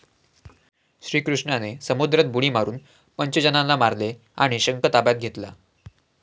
श्रीकृष्णाने समुद्रात बुडी मारून पंचजनाला मारले आणि शंख ताब्यात घेतला.